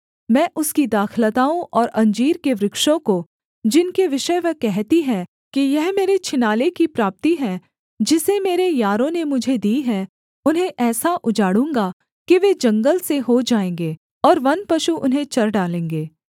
मैं उसकी दाखलताओं और अंजीर के वृक्षों को जिनके विषय वह कहती है कि यह मेरे छिनाले की प्राप्ति है जिसे मेरे यारों ने मुझे दी है उन्हें ऐसा उजाड़ूँगा कि वे जंगल से हो जाएँगे और वनपशु उन्हें चर डालेंगे